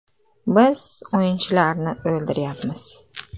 Biz o‘yinchilarni o‘ldiryapmiz.